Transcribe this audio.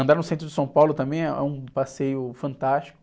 Andar no centro de São Paulo também é um passeio fantástico.